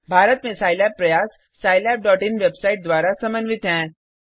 भारत में सिलाब प्रयास scilabइन वेबसाइट द्वारा समन्वित हैं